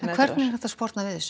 hvernig er hægt að sporna við þessu